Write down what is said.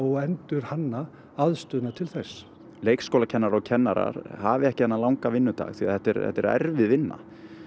að endurhanna aðstöðu til þess leikskólakennarar og kennarar hafi ekki þennan langa vinnudag því þetta er þetta er erfið vinna